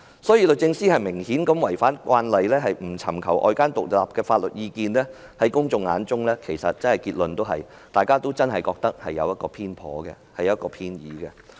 所以，律政司明顯是違反慣例，不尋求外間獨立法律意見，在公眾眼中，其實大家都真的覺得是偏頗、偏倚。